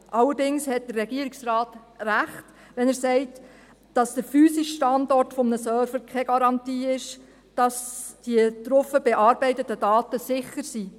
Allerdings hat der Regierungsrat Recht, wenn er sagt, dass der physische Standort eines Servers keine Garantie ist, damit die darauf bearbeiteten Daten sicher sind.